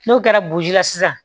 N'o kɛra boji la sisan